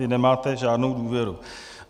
Vy nemáte žádnou důvěru.